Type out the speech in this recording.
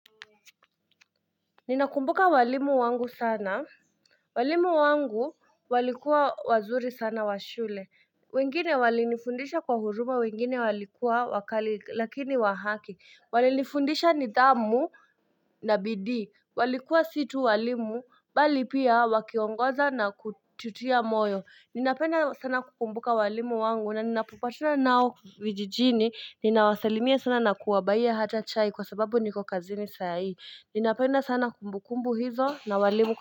Ninakumbuka walimu wangu sana walimu wangu walikuwa wazuri sana wa shule wengine walinifundisha kwa huruma wengine walikuwa wakali lakini wahaki Walinifundisha ni dhamu na bidii walikuwa situ walimu bali pia wakiongoza na kututia moyo Ninapenda sana kukumbuka walimu wangu na ninapopatana nao vijijini Ninawasalimia sana na kuwabuyia hata chai kwa sababu niko kazini sayi Ninapenda sana kumbukumbu hizo na walimu.